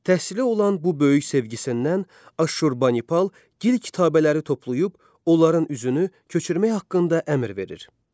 Təhsilə olan bu böyük sevgisindən Aşurbanipal gil kitabələri toplayıb, onların üzünü köçürmək haqqında əmr verir.